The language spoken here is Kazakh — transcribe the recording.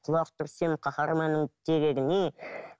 құлақ түрсең қахарманның терегіне